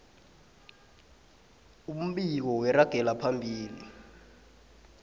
umbiko weragelo phambili